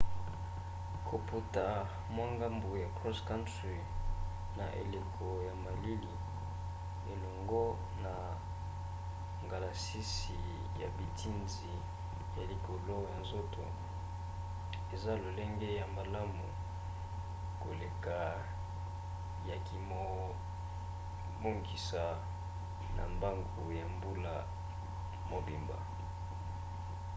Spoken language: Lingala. kopota mwa mbangu ya cross-country na eleko ya malili elongo na ngalasisi ya biteni ya likolo ya nzoto eza lolenge ya malamu koleka ya komibongisa na mbangu ya mbula mobimba